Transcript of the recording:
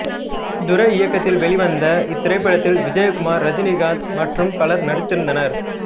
துரை இயக்கத்தில் வெளிவந்த இத்திரைப்படத்தில் விஜயகுமார் ரஜினிகாந்த் மற்றும் பலரும் நடித்திருந்தனர்